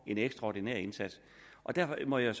en ekstraordinær indsats derfor må jeg